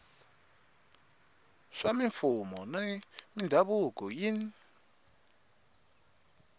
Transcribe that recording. swa mimfuwo na mindhavuko yin